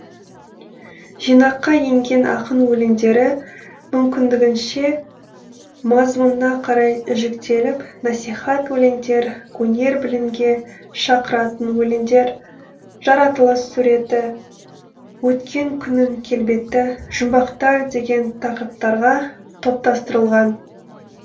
жинаққа енген ақын өлеңдері мүмкіндігінше мазмұнына қарай жіктеліп насихат өлеңдер өнер білімге шақыратын өлеңдер жаратылыс суреті өткен күннің келбеті жұмбақтар деген тақырыптарға топтастырылған